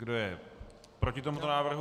Kdo je proti tomuto návrhu?